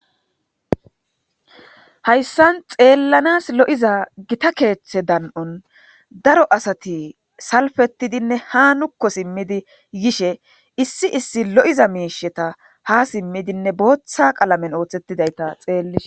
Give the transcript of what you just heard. Haysan xeelanasi lo'za Gita keethe dani'on daro asati salfetidinne ha nuuko simidi yishe issi issi lo'iza misheta ha simidinne bootha qalamen oothetidayta xelishe...